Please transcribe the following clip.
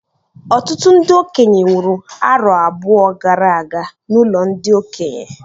Ọtụtụ ndị okenye nwụrụ arọ abụọ gara aga n'ụlọ ndị okenye